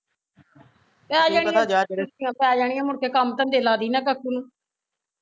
ਤੇ ਏਹ ਜਿਹੜੀਆ ਛੁੱਟੀਆ ਪੈ ਜਾਣੀਆ ਮੁੜ ਕੇ ਕੰਮ ਧੰਦੇ ਲਾਦੀ ਨਾ ਕਾਕੂ ਨੂੰ